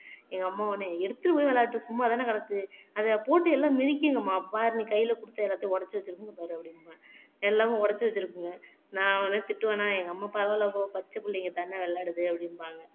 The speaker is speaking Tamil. எங்க அம்மா உன்னை எடுத்துட்டு போய் விளையாடுனேன் சும்மாதான கிடைச்சது அதை போட்டு எல்லாம் மிதிக்கிங்கம்மா பாரு நீ கையில குடுத்து எல்லாத்தையும் உடைச்சு திரும்புங்க பாரு அப்படிம்பா எல்லாமே உடைச்சு வச்சிருக்குங்க நான் உடனே திட்டுவேனா எங்க அம்மா பரவாயில்லை போ பச்சப்புள்ளைங்கதாண்ணே விளையாடுது அப்படிம்பாங்க